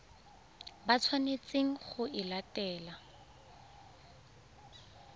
ba tshwanetseng go e latela